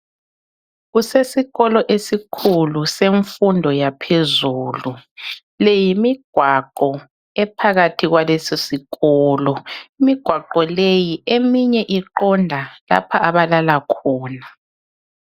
Kusesikolo esikhulu senfundo yaphezulu, leyimigwaqo ephakathi kwalesi sikolo .Imigwaqo leyi ,eminye iqonda lapha abalala khona.